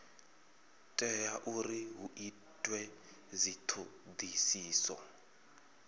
tea uri hu itwe dzithodisiso